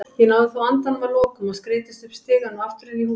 Ég náði þó andanum að lokum og skreiddist upp stigann og aftur inn í húsið.